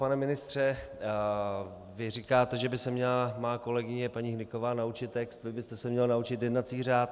Pane ministře, vy říkáte, že by se měla má kolegyně paní Hnyková naučit text, vy byste se měl naučit jednací řád.